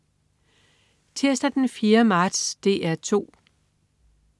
Tirsdag den 4. marts - DR 2: